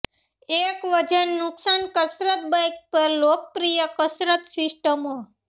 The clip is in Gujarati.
એક વજન નુકશાન કસરત બાઇક પર લોકપ્રિય કસરત સિસ્ટમો